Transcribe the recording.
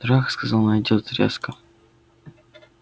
дурак сказал найдёт резко